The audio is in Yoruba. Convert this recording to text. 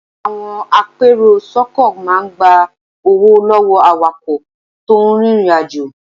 Àwọn apèròsọ́kọ̀ máa ń gba owó lọ́wọ́ awakọ̀ tó ń rìnrìnàjò.